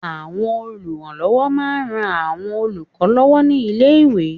Àwọn olùrànlọwọ ma n ran àwọn olùkọ lọwọ ni ilé iwe